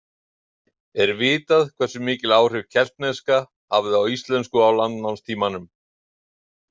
Er vitað hversu mikil áhrif keltneska hafði á íslensku á landnámstímanum.